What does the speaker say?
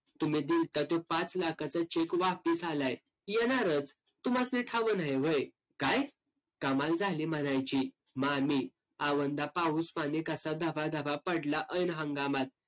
तुम्ही दिलता ते पाच लाखाचं cheque वापस आलाय. येणारच. तुम्हासणी ठावं न्हाई व्हय? काय? कमाल झाली म्हणायची. मामी, आवंदा पाऊसपाणी कसा धबाधबा पडला ऐन हंगामात.